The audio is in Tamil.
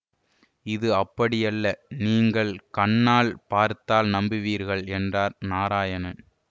இது அப்படியல்ல நீங்கள் கண்ணால் பார்த்தால் நம்புவீர்கள் என்றார் நாராயணன்